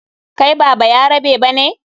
Kai ba bayarabe ba ne?